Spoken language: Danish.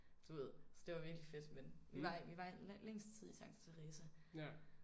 Du ved så det var virkelig fedt men vi var i vi var længst tid i Santa Teresa